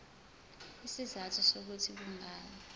izizathu zokuthi kungani